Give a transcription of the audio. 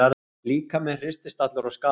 Líkaminn hristist allur og skalf.